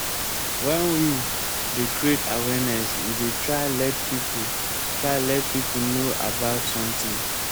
when we dey create awareness we dey try let pipo try let pipo know about something